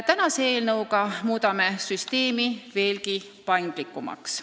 Täna arutatava eelnõuga muudame süsteemi veelgi paindlikumaks.